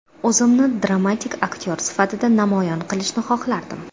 O‘zimni dramatik aktyor sifatida namoyon qilishni xohlardim.